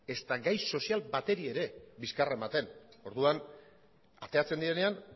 ezta gai sozial bateri bizkarra ematen orduan ateratzen direnean